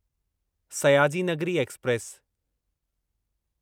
Sayaji Nagari express